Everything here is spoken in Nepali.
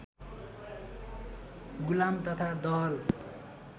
गुलाम तथा दहल